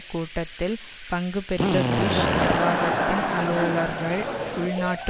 கூட்டத்தில் பங்கு பெற்ற புஷ் நிர்வாகத்தின் அலுவலர்கள் உள்நாட்டு